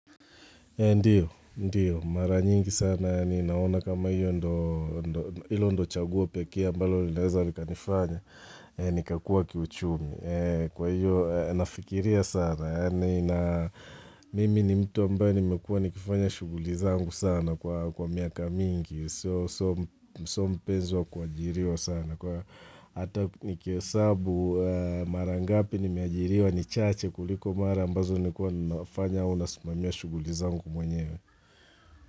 Ndiyo, ndiyo. Mara nyingi sana. Ni naona kama hiyo ndoo ilo chaguo pekee ambalo naeza nikalifanya ni kakua kiuchumi. Ee Kwa hiyo, nafikiria sana. Mimi ni mtu ambaye nimekuwa nikifanya shughuli sana kwa miaka mingi. So mpenzi wa kuajiriwa sana. Kwa hata ni he's abused marangapi ni miajiriwa ni chache kuliko mara ambazo nimekuwa nafanya au nasimamia shughuli zangu mwenyewe.